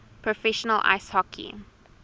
professional ice hockey